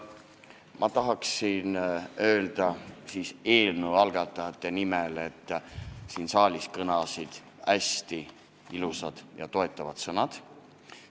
Ma tahan öelda eelnõu algatajate nimel, et siin saalis kõlasid hästi ilusad ja toetavad sõnad.